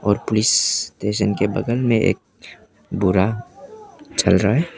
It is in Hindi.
और पुलिस स्टेशन के बगल में एक भूरा चल रहा है।